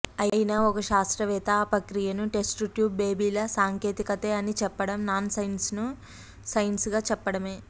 అయినా ఒక శాస్త్రవేత్త ఆ ప్రక్రియను టెస్ట్ట్యూబ్ బేబీల సాంకేతికతే అని చెప్పడం నాన్ సైన్సును సైన్సుగా చెప్పడమే